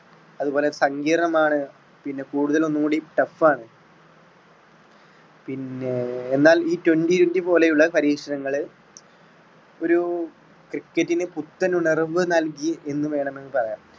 അതുപോലെ സങ്കീർണമാണ് പിന്നെ കൂടുതൽ ഒന്ന്കൂടി tough ആണ് പിന്നെ എന്നാൽ ഈ twenty twenty പോലെയുള്ള പരീക്ഷണങ്ങള് ഒരു cricket ന് പുത്തൻ ഉണർവ് നൽകി എന്ന് വേണമെങ്കിൽ പറയാം.